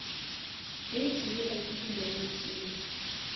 date yela ke di nineteen